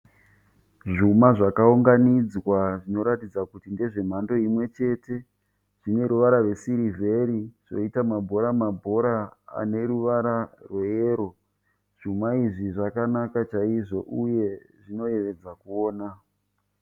Zvuma zvakaunganidzwa zvinoratidza kuti ndezve mhando imwe chete. Zvine ruvara rwesirivheri zvoita mabhora mabhora ane ruvara rweyero. Zvuma izvi zvakanaka chaizvo uye zvinoyevedza kuona.